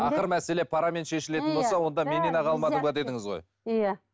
ақыры мәселе парамен шешілетін болса онда менен ақ алмадың ба дедіңіз ғой иә